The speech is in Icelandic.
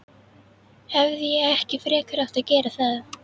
Hefði ég ekki frekar átt að gera það?